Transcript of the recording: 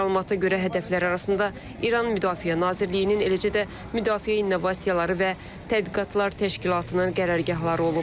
Məlumata görə hədəflər arasında İran Müdafiə Nazirliyinin, eləcə də Müdafiə İnnovasiyaları və Tədqiqatlar Təşkilatının qərargahları olub.